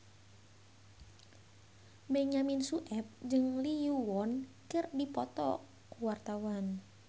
Benyamin Sueb jeung Lee Yo Won keur dipoto ku wartawan